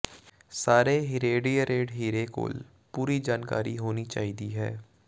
ਸਾਰੇ ਹੀਰੇਡੀਏਰੇਡ ਹੀਰੇ ਕੋਲ ਪੂਰੀ ਜਾਣਕਾਰੀ ਹੋਣੀ ਚਾਹੀਦੀ ਹੈ